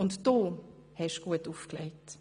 Und du hast gut aufgelegt!